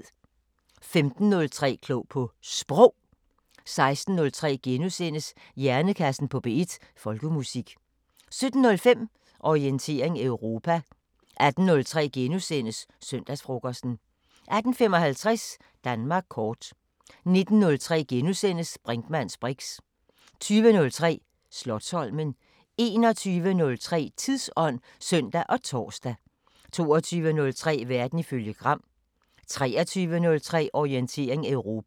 15:03: Klog på Sprog 16:03: Hjernekassen på P1: Folkemusik * 17:05: Orientering Europa 18:03: Søndagsfrokosten * 18:55: Danmark kort 19:03: Brinkmanns briks * 20:03: Slotsholmen 21:03: Tidsånd (søn og tor) 22:03: Verden ifølge Gram 23:03: Orientering Europa